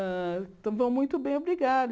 Hã então vão muito bem, obrigada.